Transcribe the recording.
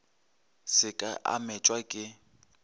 se ke a metšwa ke